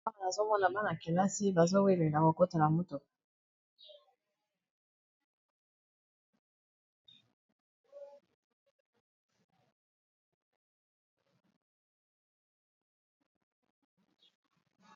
Banakelasi bazo welela ko kota na motuka monene.